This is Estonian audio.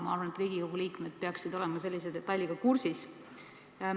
Ma arvan, et Riigikogu liikmed peaksid olema sellise detailiga kursis.